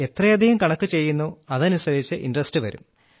എത്രയധികം കണക്കുചെയ്യുന്നോ അതനുസരിച്ച് ഇന്ററസ്റ്റ് വരും